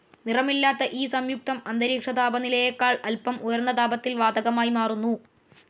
നിറമില്ലാത്ത ഈ സംയുക്തം അന്തരീക്ഷ താപനിലയേക്കാൾ അൽപ്പം ഉയർന്ന താപത്തിൽ വാതകമായി മാറുന്നു.